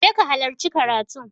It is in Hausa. je ka halarci karatun!